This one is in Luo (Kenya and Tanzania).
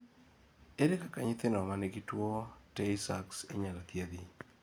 ere kaka nyithindo manigi tuwo tay sachs inyalo thiedh?